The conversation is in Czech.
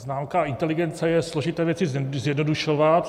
Známka inteligence je složité věci zjednodušovat.